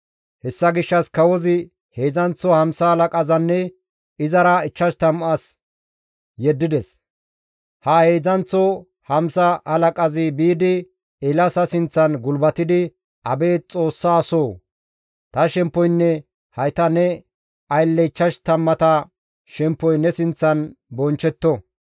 Hessa gishshas kawozi heedzdzanththo hamsa halaqazanne izara 50 as yeddides; ha heedzdzanththo hamsa halaqazi biidi Eelaasa sinththan gulbatidi, «Abeet Xoossa asoo! Ta shemppoynne hayta ne aylle ichchash tammata shemppoy ne sinththan bonchchetto.